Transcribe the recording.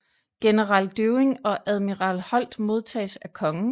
General Dewing og admiral Holt modtages af kongen